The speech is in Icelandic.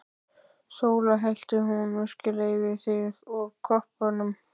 SÓLA: Hellti hún virkilega yfir þig úr koppnum!